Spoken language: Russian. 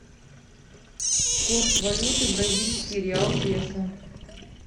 курс валюты бразильский реал песо